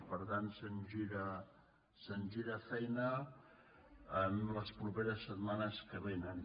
per tant se’ns gira feina en les properes setmanes que vénen